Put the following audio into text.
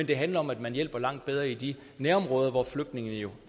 det handler om at man hjælper langt bedre i de nærområder hvor flygtningene jo